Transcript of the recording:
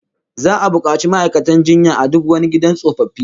Za'a bukaci ma'aikatan jinya a duk wani gidan tsofaffi